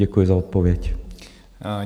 Děkuji za odpověď.